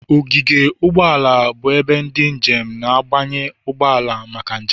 Ogige ụgbọ ala bụ ebe ndị njem na-abanye ụgbọ ala maka njem